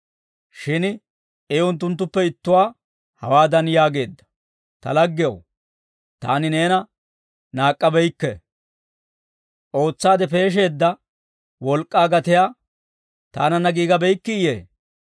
«Shin I unttunttuppe ittuwaa hawaadan yaageedda; ‹Ta laggew, taani neena naak'k'abeykke; ootsaade peesheedda wolk'k'aa gatiyaa taananna giigabeykkiyee?